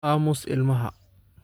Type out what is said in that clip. Aamus ilmaha